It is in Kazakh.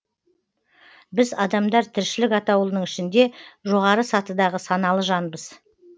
біз адамдар тіршілік атаулының ішінде жоғары сатыдағы саналы жанбыз